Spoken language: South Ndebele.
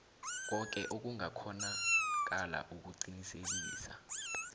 koke okungakghonakala ukuqinisekisa